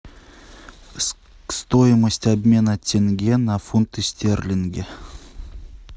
стоимость обмена тенге на фунты стерлинги